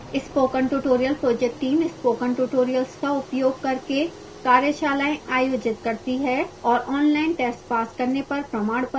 spoken tutorial project team spoken tutorials का उपयोग करके कार्यशालाएँ आयोजित करती है और ऑनलाइन टेस्ट पास करने पर प्रमाणपत्र देती है